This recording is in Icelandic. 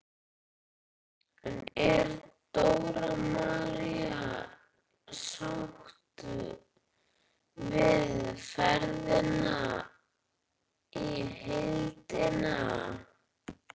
En er Dóra María sátt við ferðina í heildina?